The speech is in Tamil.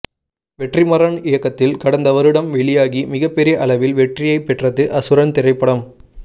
வெற்றி மாறன் இயக்கத்தில் கடந்த வருடம் வெளியாகி மிகப்பெரிய அளவில் வெற்றியை பெற்றது அசுரன் திரைப்படம்